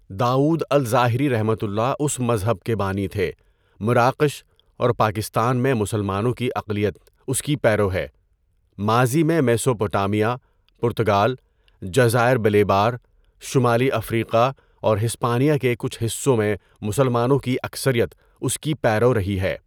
داؤد الظاہریؒ اس مذہب کے بانی تھے۔ مراکش اور پاکستان میں مسلمانوں کی اقلیت اس کی پیرو ہے۔ ماضی میں میسوپوٹامیہ، پرتگال، جزائر بلیبار، شمالی افریقہ اور ہسپانیہ کے کچھ حصوں میں مسلمانوں کی اکثریت اس کی پیرو رہی ہے۔